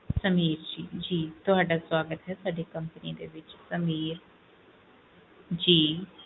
ਸਮੀਰ ਜੀ ਤੁਹਾਡਾ ਸਵਾਗਤ ਹੈ ਸਾਡੀ company ਵਿਚ ਸਮੀਰ ਜੀ